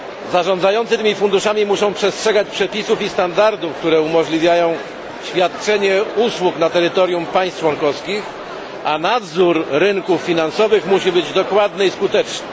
Zarządzający tymi funduszami muszą przestrzegać przepisów i standardów, które umożliwiają świadczenie usług na terytorium państw członkowskich, a nadzór rynków finansowych musi być dokładny i skuteczny.